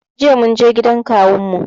Jiya munje gidan kawun mu